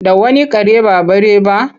Da wani kare ba bare ba?